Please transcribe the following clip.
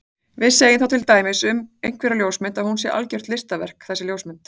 Við segjum þá til dæmis um einhverja ljósmynd að hún sé algjört listaverk þessi ljósmynd.